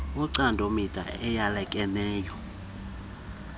wocando mida eyalekeneyo